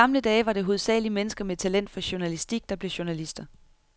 I gamle dage var det hovedsagelig mennesker med talent for journalistik, der blev journalister.